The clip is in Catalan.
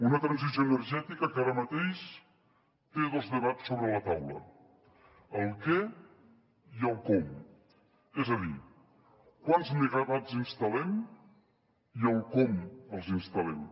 una transició energètica que ara mateix té dos debats sobre la taula el què i el com és a dir quants megawatts instal·lem i com els instal·lem